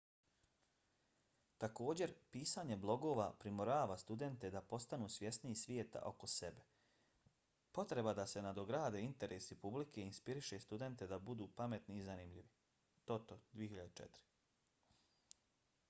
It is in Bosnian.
također pisanje blogova primorava studente da postanu svjesniji svijeta oko sebe . potreba da se nadograde interesi publike inspiriše studente da budu pametni i zanimljivi toto 2004